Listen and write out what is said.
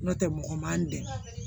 N'o tɛ mɔgɔ man n dɛmɛ